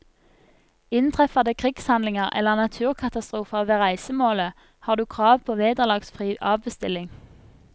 Inntreffer det krigshandlinger eller naturkatastrofer ved reisemålet, har du krav på vederlagsfri avbestilling.